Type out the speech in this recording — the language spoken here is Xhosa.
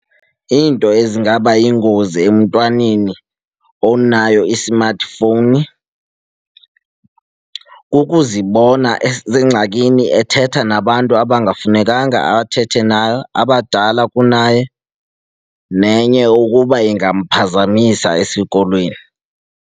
Iinto ezingaba yingozi emntwaneni onayo i-smartphone kukuzibona esengxakini ethetha nabantu abangafunekanga athethe naye, abadala kunaye. Nenye, ukuba ingamphazamisa esikolweni.